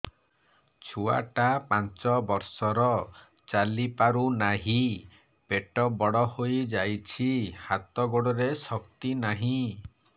ଛୁଆଟା ପାଞ୍ଚ ବର୍ଷର ଚାଲି ପାରୁ ନାହି ପେଟ ବଡ଼ ହୋଇ ଯାଇଛି ହାତ ଗୋଡ଼ରେ ଶକ୍ତି ନାହିଁ